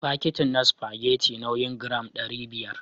Fakitin na spagetti nauyin gram ɗari biyar